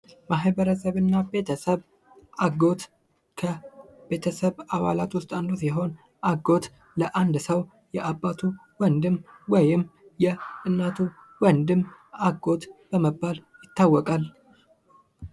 ማህበረሰብ እና ቤተሰብ ፦ አጎት ፦ አጎት ከቤተሰብ አባላት ውስጥ አንዱ ሲሆን አጎት ለአንድ ሰው የአባቱ ወንድም ወይም የእናቱ ወንድም አጎት በመባል ይታወቃል ።